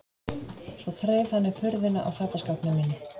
Svo þreif hann upp hurðina á fataskápnum mínum.